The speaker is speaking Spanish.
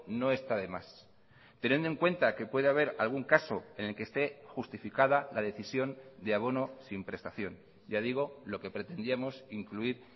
no está de más teniendo en cuenta que puede haber algún caso en el que esté justificada la decisión de abono sin prestación ya digo lo que pretendíamos incluir